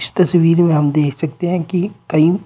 इस तस्वीर में हम देख सकते हैं की कई--